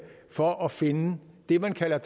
for at finde det man kalder